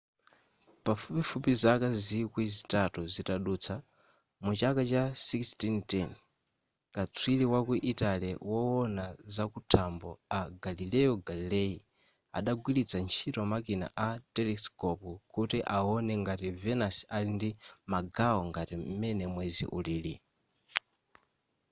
pafupifupi zaka zikwi zitatu zitadutsa muchaka cha 1610 katswiri waku italy wowona zakuthambo a galileo galilei adagwiritsa ntchito makina a telescope kuti awone ngati venus ali ndi magawo ngati m'mene mwezi ulili